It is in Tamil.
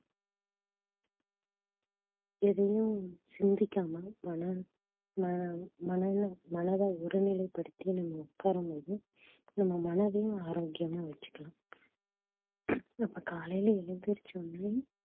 எதையும் சிந்திக்காம மன~ மனம்~ மனல~ மனதை ஒருநிலைப்படுத்தி நம்ம உட்காரும்போது நம்ம மனதையும் ஆரோக்கியமா வெச்சுக்கலாம் அப்ப காலையில எழுந்திருச்ச உடனே